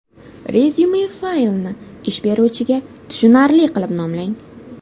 Rezyume faylini ish beruvchiga tushunarli qilib nomlang.